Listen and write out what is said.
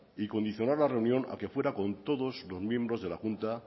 y condicionar la reunión a que fuera con todos los miembros de la junta